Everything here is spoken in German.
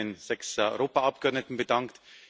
Sie haben sich bei den sechs Europaabgeordneten bedankt.